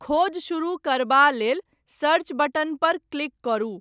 खोज शुरू करबा लेल 'सर्च' बटन पर क्लिक करू।